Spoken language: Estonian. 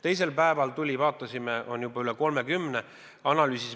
Teisel päeval vaatasime, et on juba üle 30 riigi.